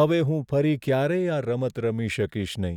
હવે હું ફરી ક્યારેય આ રમત રમી શકીશ નહીં.